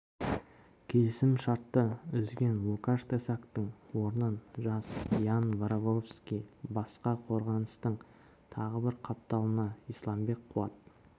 келісім-шартты үзген лукаш тесактың орнын жас ян вороговский басса қорғаныстың тағы бір қапталына исламбек қуат